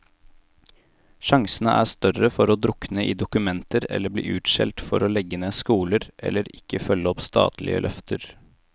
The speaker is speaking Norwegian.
Sjansene er større for å drukne i dokumenter eller bli utskjelt for å legge ned skoler, eller ikke følge opp statlige løfter.